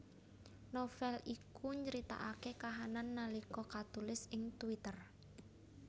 Novel iku nyritakaké kahanan nalika katulis ing twitter